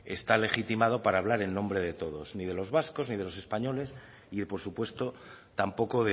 está legitimado para hablar en nombre de todos ni de los vascos ni de los españoles y por supuesto tampoco